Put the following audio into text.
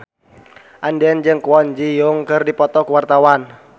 Andien jeung Kwon Ji Yong keur dipoto ku wartawan